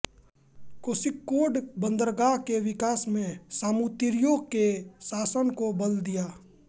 कोष़िक्कोड बन्दरगाह के विकास से सामूतिरियों के शासन को बल दिया